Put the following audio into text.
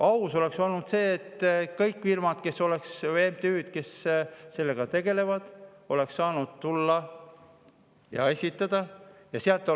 Aus oleks olnud see, et kõik firmad või MTÜ-d, kes sellega tegelevad, oleks saanud tulla ja esitada.